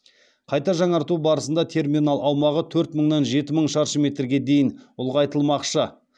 қайта жаңарту барысында терминал аумағы төрт мыңнан жеті мың шаршы метрге дейін ұлғайтылмақшы